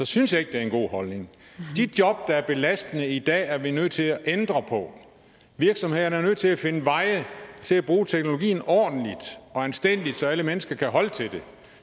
synes jeg ikke det er en god holdning de job der er belastende i dag er vi nødt til at ændre på virksomhederne er nødt til at finde veje til at bruge teknologien ordentligt og anstændigt så alle mennesker kan holde til det